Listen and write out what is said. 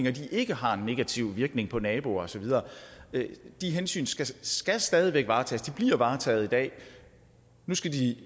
at de ikke har en negativ virkning for naboer og så videre de hensyn skal skal stadig væk varetages de bliver varetaget i dag nu skal de i